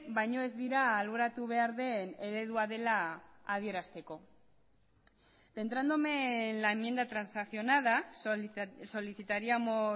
baino ez dira alboratu behar den eredua dela adierazteko centrándome en la enmienda transaccionada solicitaríamos